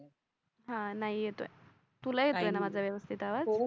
हा नाय येतोय. तुला ही येतोय ना माझा व्यवस्तीत आवाज